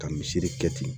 Ka misiri kɛ ten